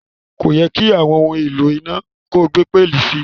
Óyẹ́ ki àwon oun èlò iná ko gbé pẹlí si